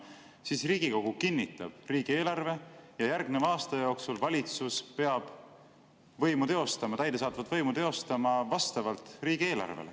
Siis Riigikogu kinnitab riigieelarve ja järgmise aasta jooksul valitsus peab täidesaatvat võimu teostama vastavalt riigieelarvele.